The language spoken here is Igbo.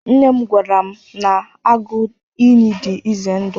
Nne m gwara m na agụ iyi dị ize ndụ.